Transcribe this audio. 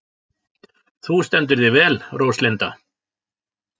Þú stendur þig vel, Róslinda!